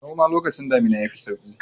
Noms lokacin damina ya fi sauƙi.